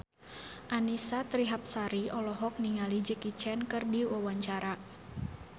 Annisa Trihapsari olohok ningali Jackie Chan keur diwawancara